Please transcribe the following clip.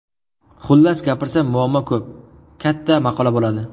Xullas, gapirsam muammo ko‘p, katta maqola bo‘ladi.